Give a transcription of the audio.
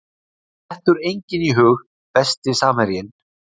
Dettur enginn í hug Besti samherjinn?